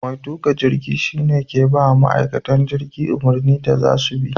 Mai tuka jirgi shi ne ke ba ma ma'aikatan jirgi umarnin da za su bi.